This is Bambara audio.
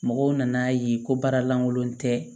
Mɔgɔw nan'a ye ko baara lankolon tɛ